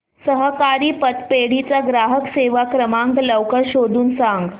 सहकारी पतपेढी चा ग्राहक सेवा क्रमांक लवकर शोधून सांग